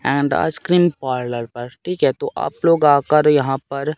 end ice cream parlour पर ठीक है तो आप लोग आकर यहां पर--